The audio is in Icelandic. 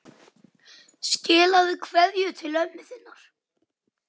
Skilaðu kveðju til ömmu þinnar.